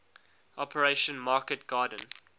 operation market garden